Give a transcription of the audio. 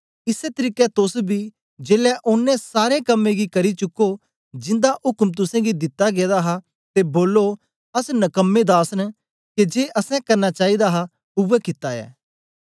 इसै तरीके तोस बी जेलै ओनें सारे कम्में गी करी चुको जिंदा उक्म तुसेंगी दिता गेदा हा ते बोलो अस नकमें दास न के जे असैं करना चाईदा हा उवै कित्ता ऐ